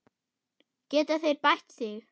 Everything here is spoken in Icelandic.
Geta þeir bætt sig?